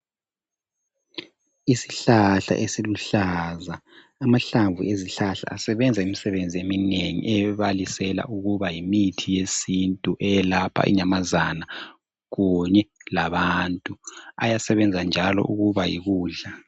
Isihlahla esiluhlaza. Amahlamvu ezihlahla asebenza imisebenzi eminengi ebalisela ukuba yimithi yesintu eyelapha inyamazana kunye labantu. Abasebenza njalo ukuba yikudla.